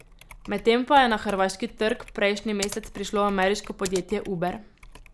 Medtem pa je na hrvaški trg prejšnji mesec prišlo ameriško podjetje Uber.